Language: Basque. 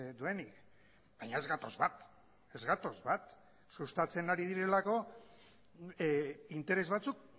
duenik baina ez gatoz bat ez gatoz bat sustatzen ari direlako interes batzuk